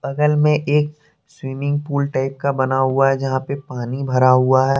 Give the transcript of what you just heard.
बगल में एक स्विमिंग पूल टाइप का बना हुआ है जहां पे पानी भरा हुआ है।